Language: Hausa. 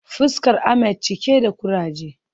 Fuskar Ahmed cike da kuraje